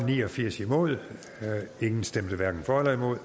ni og firs hverken for eller imod